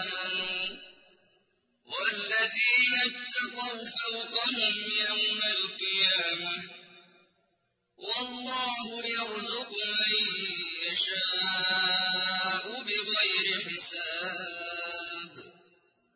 آمَنُوا ۘ وَالَّذِينَ اتَّقَوْا فَوْقَهُمْ يَوْمَ الْقِيَامَةِ ۗ وَاللَّهُ يَرْزُقُ مَن يَشَاءُ بِغَيْرِ حِسَابٍ